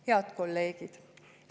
Head kolleegid!